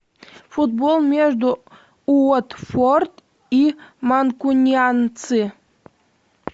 футбол между уотфорд и манкунианцы